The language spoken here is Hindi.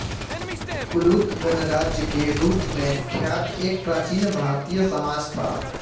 कुलूत गणराज्य के रूप में ख्यात एक प्राचीन भारतीय समाज था